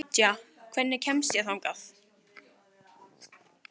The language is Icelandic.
Nadja, hvernig kemst ég þangað?